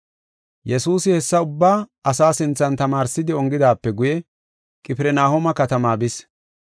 Yesuusi hessa ubbaa asaa sinthan tamaarsidi ongidaape guye, Qifirnahooma katamaa bis.